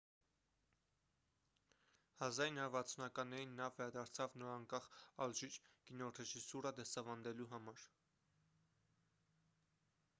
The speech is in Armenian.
1960-ականներին նա վերադարձավ նորանկախ ալժիր կինոռեժիսուրա դասավանդելու համար